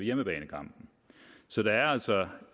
hjemmebanekampen så det er altså